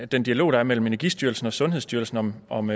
den dialog der er mellem energistyrelsen og sundhedsstyrelsen om om